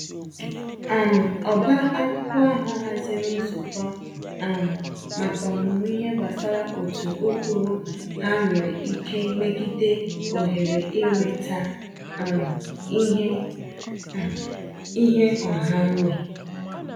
um Ọba akwụkwọ ahụ haziri nzukọ um maka ọmụmụ ihe gbasara otu ụkpụrụ ha nwere ike megide ohere inweta um ihe um ihe ọha nwe